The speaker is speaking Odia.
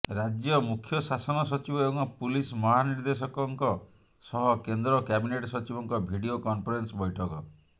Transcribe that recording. ରାଜ୍ୟ ମୁଖ୍ୟ ଶାସନ ସଚିବ ଏବଂ ପୁଲିସ ମହାନିର୍ଦ୍ଦେଶକଙ୍କ ସହ କେନ୍ଦ୍ର କ୍ୟାବିନେଟ ସଚିବଙ୍କ ଭିଡିଓ କନଫରେନ୍ସ ବୈଠକ